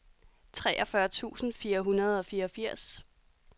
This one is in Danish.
treogfyrre tusind fire hundrede og fireogfirs